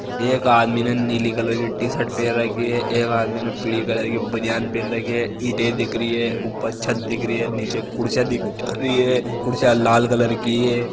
एक आदमी ने नीली कलर की टी शर्ट पेहर रखी है एक आदमी ने पीली कलर की बनियान पेहन रखी है ईंटे दिख रही हैऊपर छत दिख रही है नीचे कुर्सियां दिख रही है कुर्सियां लाल कलर की है।